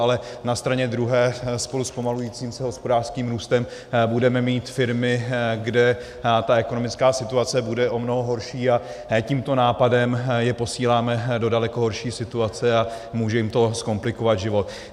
Ale na straně druhé spolu se zpomalujícím se hospodářským růstem budeme mít firmy, kde ta ekonomická situace bude o mnoho horší, a tímto nápadem je posíláme do daleko horší situace a může jim to zkomplikovat život.